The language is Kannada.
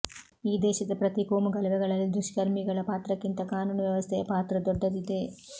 ಈ ದೇಶದ ಪ್ರತಿ ಕೋಮುಗಲಭೆಗಳಲ್ಲಿ ದುಷ್ಕರ್ಮಿಗಳ ಪಾತ್ರಕ್ಕಿಂತ ಕಾನೂನು ವ್ಯವಸ್ಥೆಯ ಪಾತ್ರ ದೊಡ್ಡದಿದೆ